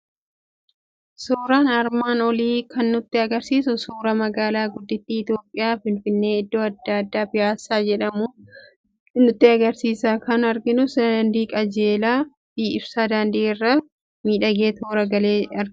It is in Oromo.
Suuraan armaan olii kan nutti argisiisu suuraa magaalaa guddittii Itoophiyaa, Finfinnee, iddoo addaa Piyaassaa jedhamu nutti argisiisa. Kan arginus daandii qajeelaa fi ibsaa daandii irra miidhagee toora galeeru ni argina.